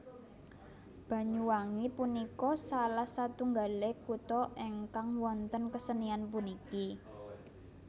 Banyuwangi punika salah satunggale kuta engkang wonten kesenian puniki